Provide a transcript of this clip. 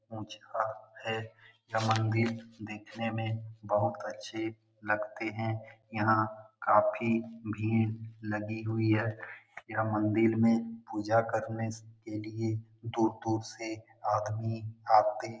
ऊंचा है तमंदीप दिखने मे बहुत अच्छे लगते है यहाँ काफी भीड़ लगी हुई है। यह मंदिर मे पूजा करने के लिए दूर-दूर से आदमी आते--